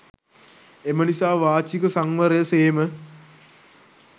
එම නිසා වාචික සංවරය සේම